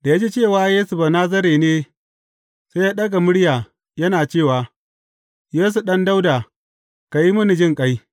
Da ya ji cewa Yesu Banazare ne, sai ya ɗaga murya, yana cewa, Yesu Ɗan Dawuda, ka yi mini jinƙai!